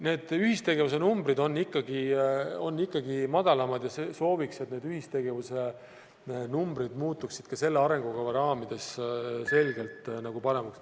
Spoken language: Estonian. Need ühistegevuse numbrid on ikkagi madalamad ja sooviks, et need ühistegevuse numbrid muutuksid ka selle arengukava raamides selgelt paremaks.